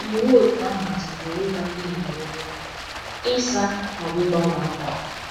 Iwu òtù ahụ machibidoro ịgwa ndị inyom okwu, ịsa, ma ọ bụ ịgbanwe ákwà.